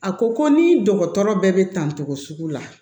A ko ko ni dɔgɔtɔrɔ bɛɛ bɛ tan togo sugu la